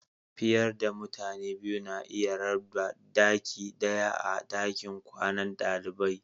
Fiyar da mutane biyu na iya rabba daki daya a'dakin kwanan dalibai.